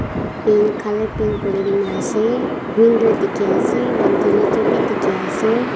pink colour paint kurina ase window dikhi ase ventilator ase.